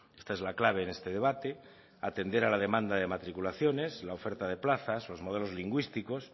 esta es la clave en este debate atender a la demanda de matriculaciones la oferta de plazas los modelos lingüísticos